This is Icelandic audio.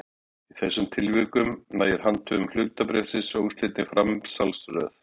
Í þessum tilvikum nægir handhöfn hlutabréfsins með óslitinni framsalsröð.